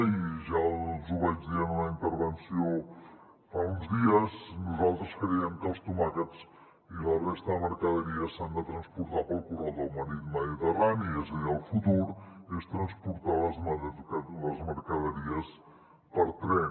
i ja els ho vaig dir en una intervenció fa uns dies nosaltres creiem que els tomàquets i la resta de mercaderies s’han de transportar pel corredor mediterrani és a dir el futur és transportar les mercaderies per tren